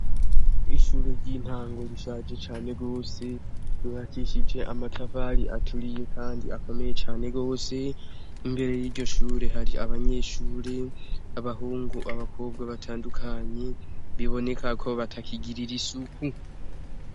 Ishure ry'intango rishaje cane gose rihakishije amatavali aturiye, kandi akomeye cane gose imbere y'iryo shure hari abanyeshure abahungu abakobwa batandukanye biboneka ko batakigirira isuku.